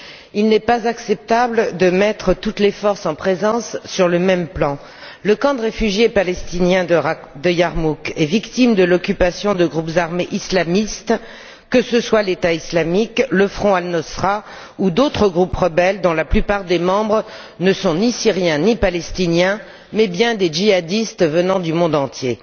Il n'est pas acceptable de mettre toutes les forces en présence sur le même plan. Le camp de réfugiés palestiniens de Yarmouk est victime de l'occupation de groupes armés islamistes, que ce soient le groupe État islamique, le front Al Nosra ou d'autres groupes rebelles, dont la plupart des membres ne sont ni Syriens, ni Palestiniens, mais bien des djihadistes venant du monde entier.